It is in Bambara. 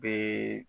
Bee